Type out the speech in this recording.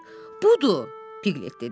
Budur, Piqlet dedi.